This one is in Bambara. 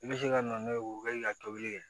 I bɛ se ka na n'o ye o kɛlen ka tobili kɛ